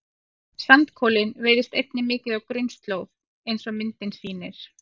Sandkolinn veiðist einnig mikið á grunnslóð eins og myndin sýnir.